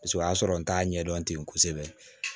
Paseke o y'a sɔrɔ n t'a ɲɛdɔn ten kosɛbɛ